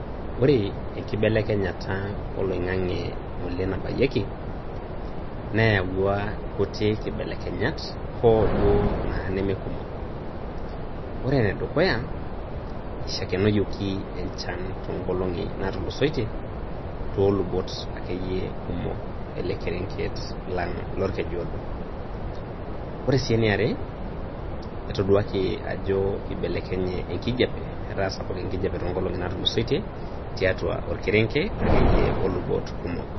Ore enkibelekenyata oloing'ang'e ng'ole nabaiyeeki neyauwa inkuti kibelekenyat, um duo nemee kumok. Ore ene dukuya eishakenoyoki enchan too ng'olong'i naatulusoitie too lubot ake iyie kumok ele kerenget lang' Lolkeju odo. Kore sii ene are naa atoduaki ajo keibelekenye enkijape etaa sapuk enkijape toonkolongi naatulusoitie, tiatua olkereng'e ake iyie o lubot kumok.